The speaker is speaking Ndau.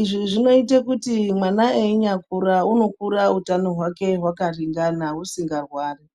Izvi zvinoita kuti mwana einyakura unokura utano hwake hwakaringana usingarwari.